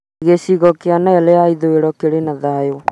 Gĩcigo kĩa Nile ya ithũĩro kĩrĩ na thaayũ